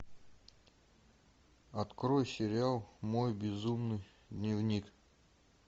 открой сериал мой безумный дневник